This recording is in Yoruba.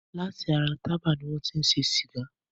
Lati ara Tába ni wọn ti ń ṣe Sìgá.